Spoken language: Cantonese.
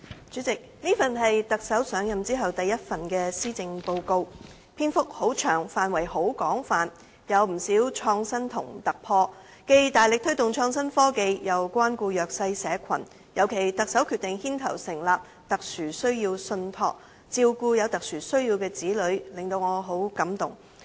主席，這是特首上任後第一份施政報告，篇幅很長，範圍很廣，有不少創新和突破，既大力推動創新科技，也關顧弱勢社群，尤其特首決定牽頭成立"特殊需要信託"照顧有特殊需要的子女，令我很感動。